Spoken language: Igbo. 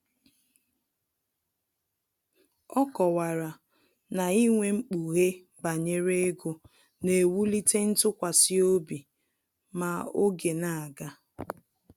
Ọ kọwara na inwe mkpughe banyere ego na-ewulite ntụkwasịobi ma oge na-aga